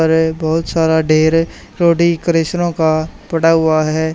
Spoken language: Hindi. और ये बहुत सारा ढेर रोटी का पड़ा हुआ है।